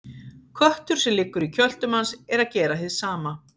Köttur sem liggur í kjöltu manns er að gera hið sama.